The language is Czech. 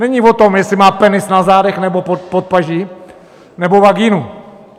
Není o tom, jestli má penis na zádech nebo pod paží nebo vaginu.